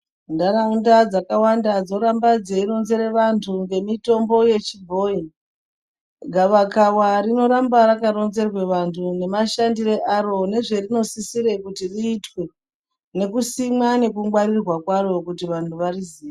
Ntaraunda dzakawanda dzoramba dzeironzere vantu ngemitombo yechibhoyi. Gavakava rinoramba rakaronzerwe vantu nemashandire aro nezverinosisirwe kuti riitwe, nekusimwa nekungwarirwa kwaro kuti vantu variziye.